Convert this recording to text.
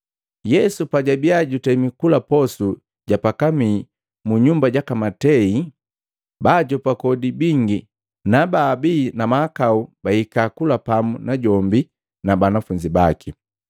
Yesu pajabia jutemi kula posu ja pakamii mu nyumba jaka Matei, baajopa kodi bingi na baabii na mahakau bahika kula pamu najombi na banafunzi baki.